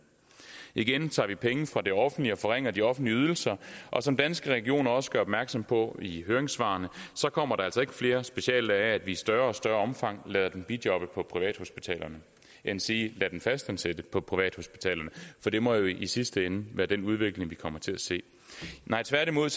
igen tager vi penge fra det offentlige og forringer de offentlige ydelser og som danske regioner også gør opmærksom på i høringssvarene kommer der altså ikke flere speciallæger af at vi i større og større omfang lader dem bijobbe på privathospitalerne endsige lader dem fastansætte på privathospitalerne for det må jo i sidste ende være den udvikling vi kommer til at se nej tværtimod